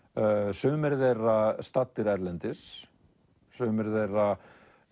sumir þeirra staddir erlendis sumir þeirra